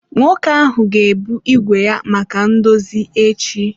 Nwoke ahụ ga-ebu ígwè ya maka ndozi echi.